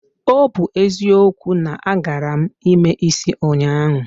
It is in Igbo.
O bu ezikwo, na agaram ime isi ụnyahụ